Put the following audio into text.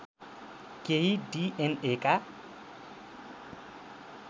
केही D N A का